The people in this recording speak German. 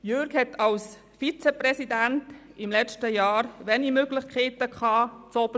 Er hatte als Vizepräsident im letzten Jahr wenige Möglichkeiten, ganz oben zu sitzen.